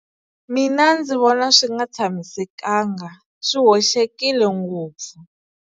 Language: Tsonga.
Mina ndzi vona swi nga tshamisekanga swi hoxekile ngopfu.